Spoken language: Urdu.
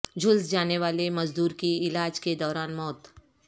جھلس جانے والے مزدور کی علاج کے دوران موت